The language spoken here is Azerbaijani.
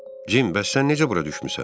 Jim, bəs sən necə bura düşmüsən?